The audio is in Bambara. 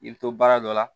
I bɛ to baara dɔ la